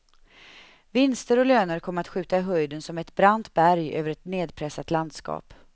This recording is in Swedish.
Vinster och löner kommer att skjuta i höjden som ett brant berg över ett nedpressat landskap.